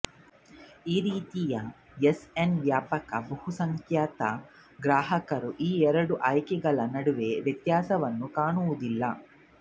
ಈ ರೀತಿ U S ನ ವ್ಯಾಪಕ ಬಹುಸಂಖ್ಯಾತ ಗ್ರಾಹಕರು ಈ ಎರಡು ಆಯ್ಕೆಗಳ ನಡುವೆ ವ್ಯತ್ಯಾಸವನ್ನು ಕಾಣುವುದಿಲ್ಲ